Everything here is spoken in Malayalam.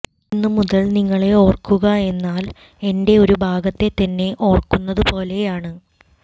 ഇന്നു മുതൽ നിങ്ങളെ ഒാർക്കുക എന്നാൽ എന്റെ ഒരു ഭാഗത്തെ തന്നെ ഒാർക്കുന്നതു പോലെയാണ്